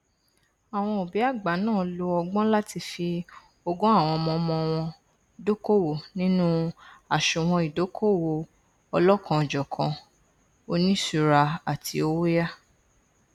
àwọn òbí àgbà náà lo ọgbọn láti fi ogún àwọn ọmọọmọ wọn dókòwò nínú àsùnwọn ìdókòwò ọlọkanòjọkan oníṣùúra àti owóyàá